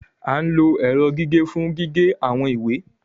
A ń lo ẹrọ gige fun gige awọn iwe